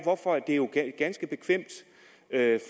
ganske bekvemt